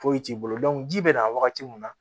Foyi t'i bolo dɔn ji bɛ na wagati mun na